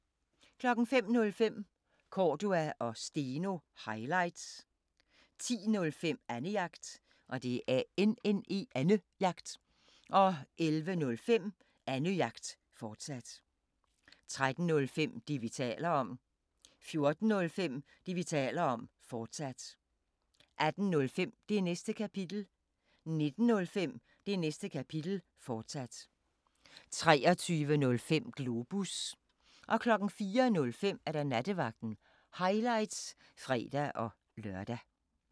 05:05: Cordua & Steno – highlights 10:05: Annejagt 11:05: Annejagt, fortsat 13:05: Det, vi taler om 14:05: Det, vi taler om, fortsat 18:05: Det Næste Kapitel 19:05: Det Næste Kapitel, fortsat 23:05: Globus 04:05: Nattevagten – highlights (fre-lør)